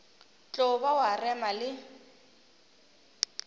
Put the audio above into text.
tlo ba wa rema le